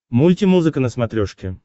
мультимузыка на смотрешке